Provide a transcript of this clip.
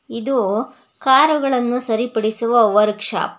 ಇದು ಕಾರುಗಳನ್ನು ಸರಿ ಪಡಿಸುವ ವರ್ಕ್ ಶಾಪ್ .